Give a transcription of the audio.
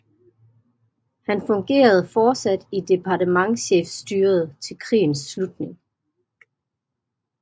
Han fungerede fortsat i departementschefstyret til krigens slutning